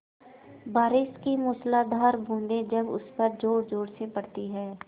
बारिश की मूसलाधार बूँदें जब उस पर ज़ोरज़ोर से पड़ती हैं